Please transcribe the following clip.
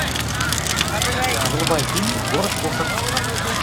врубай фильм город кошек